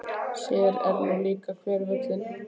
Sér er nú líka hver höllin.